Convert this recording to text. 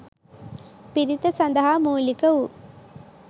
පිරිත සඳහා මූලික වූ